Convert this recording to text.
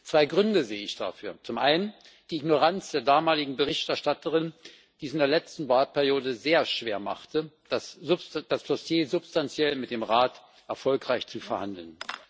Zwei Gründe sehe ich dafür zum einen die Ignoranz der damaligen Berichterstatterin, die es in der letzten Wahlperiode sehr schwer machte, das Dossier substanziell mit dem Rat erfolgreich zu verhandeln.